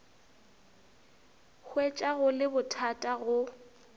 hwetša go le bothata go